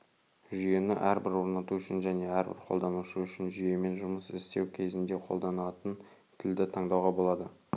жүйені әрбір орнату үшін және әрбір қолданушы үшін жүйемен жұмыс істеу кезінде қолданатын тілді таңдауға болады